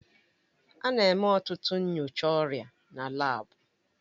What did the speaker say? A na-eme ọtụtụ nyocha ọrịa na laabu